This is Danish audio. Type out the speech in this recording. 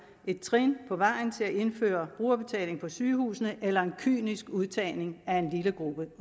et trin på vejen til at indføre brugerbetaling på sygehusene eller en kynisk udtagning af en lille gruppe